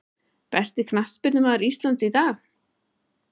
Besti knattspyrnumaður Íslands í dag?